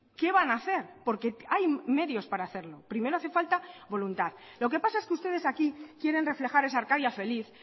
qué van a hacer porque hay medios para hacerlo primero hace falta voluntad lo que pasa es que ustedes aquí quieren reflejar esa arcadia feliz